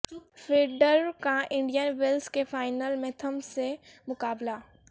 Federer کا Indian Wells کے final میں تھم سے مقابلہ